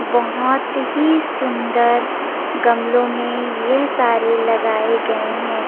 बोहोत ही सुन्दर गमलो में ये सारे लगाये गये है।